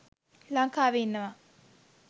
ලංකාවෙ ඉන්නවා.